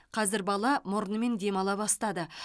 қазір бала мұрнымен демала бастады